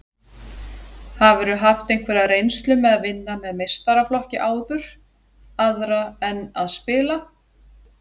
Hafðirðu haft einhverja reynslu með að vinna með meistaraflokki áður, aðra en að spila?